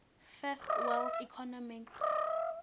first world economies